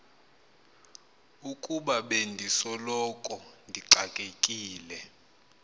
ukuba bendisoloko ndixakekile